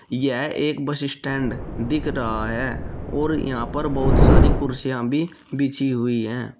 यह एक bus stand दिख रहा है और यहां पर बहुत सारी कुर्सियां भी बिछी हुई हैं।